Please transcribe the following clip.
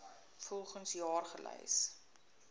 volgens jaar gelys